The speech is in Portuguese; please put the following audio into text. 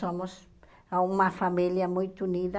Somos uma família muito unida.